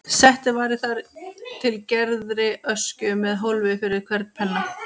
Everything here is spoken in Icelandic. Settið var í þar til gerðri öskju með hólfi fyrir hvern penna.